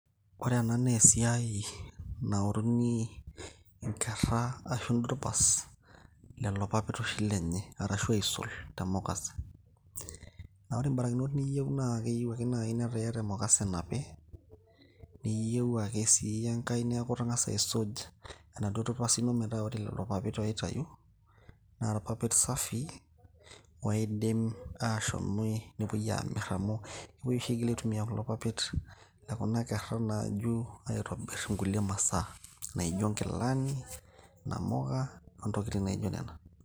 Ore ena naa esiai naoruni inkerra ashu dupas lelo papit oshi lenye, arashu aisol te mukase. Na ore barakinot niyieu naa keyieu ake nai netaa iyata emukase napi, niyeu ake si enkae neku itang'asa aisuj, enaduo dupasi ino metaa ore lelo papit oitayu, na irpapit safii, oidim ashomie nepoi amir amu, epoi oshi aigil aitumia kulo papit lekuna kerra naju, aitobir inkulie masaa, naijo nkilani, namuka, ontokiting' naijo nena.